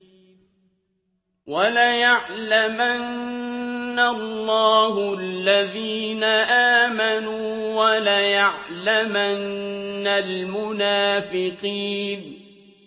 وَلَيَعْلَمَنَّ اللَّهُ الَّذِينَ آمَنُوا وَلَيَعْلَمَنَّ الْمُنَافِقِينَ